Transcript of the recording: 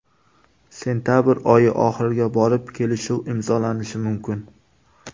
Sentabr oyi oxiriga borib kelishuv imzolanishi mumkin.